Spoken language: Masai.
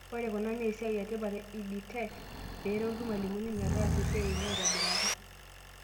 Ore kuna naa esiai etipat e Ed tech, peeretu irmalimuni metaasa esiai enye aaitobiraki.